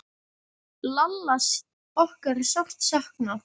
Lalla okkar er sárt saknað.